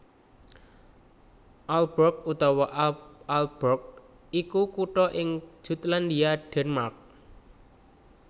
Aalborg utawa Ålborg iku kutha ing Jutlandia Denmark